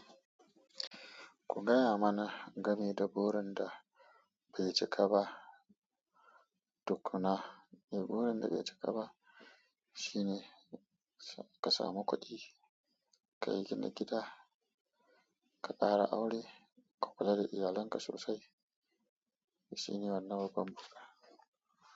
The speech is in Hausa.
Ku gaya mana game da burin da bai cika ba tukuna. Eh, burin da bai cika ba shine ka samu kuɗi, ka gina gida, ka ƙara aure, ka kula da iyalinka sosai. Shi ne wannan babban burin.